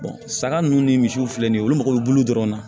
saga nunnu ni misiw filɛ nin ye olu mago be bulu dɔrɔn na